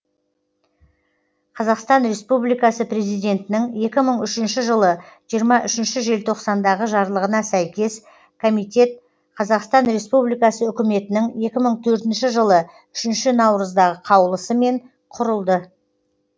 қазақстан республикасы президентінің екі мың үшінші жылы жиырма үшінші желтоқсандағы жарлығына сәйкес комитет қазақстан республикасы үкіметінің екі мың төртінші жылы үшінші наурыздағы қаулысымен құрылды